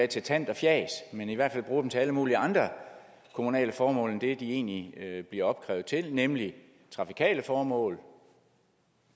til tant og fjas men i hvert fald bruger dem til alle mulige andre kommunale formål end det de egentlig bliver opkrævet til nemlig trafikale formål